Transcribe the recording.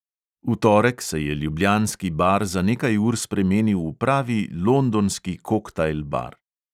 V torek se je ljubljanski bar za nekaj ur spremenil v pravi londonski koktajl bar.